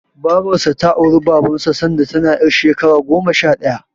Babarsa ta auri Babansa sanda tana ƴar shekara goma sha ɗaya.